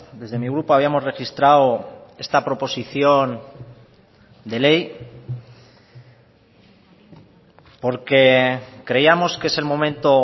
desde mi grupo habíamos registrado esta proposición de ley porque creíamos que es el momento